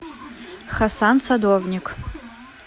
хасан садовник